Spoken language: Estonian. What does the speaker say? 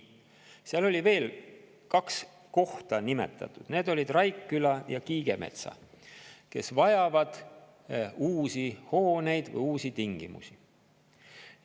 Seal oli kaks kohta nimetatud, need olid Raikküla ja Kiigemetsa, kus on vaja uusi hooneid, uusi tingimusi.